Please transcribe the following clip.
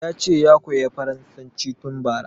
Yace ya koya farasanci tun bara